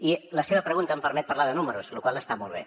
i la seva pregunta em permet parlar de números la qual cosa està molt bé